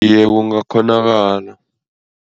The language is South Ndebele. Iye, kungakghonakala.